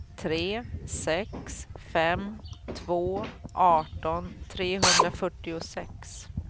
tre sex fem två arton trehundrafyrtiosex